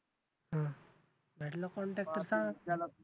हम्म भेटला contact